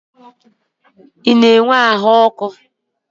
Ị na-enwe ahụ ọkụ a bidoro?